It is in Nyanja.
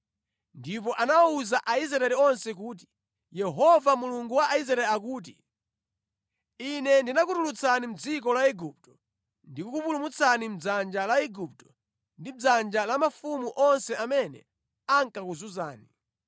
Ndipo anawuza Aisraeli onse kuti, “Yehova Mulungu wa Israeli akuti, ‘Ine ndinakutulutsani mʼdziko la Igupto ndi kukupulumutsani mʼdzanja la Igupto ndi mʼdzanja la mafumu onse amene ankakuzunzani.’